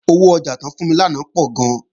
Owó ọjà tí wọ́n fún mi lánàá pọ̀ gan